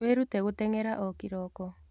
Wĩrute gũteng'era o kĩroko.